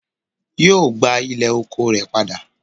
Yóò gbà ilẹ̀ oko rẹ̀ padà